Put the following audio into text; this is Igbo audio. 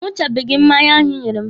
A ṅụchabeghi m mmanya ahụ Ị nyere m.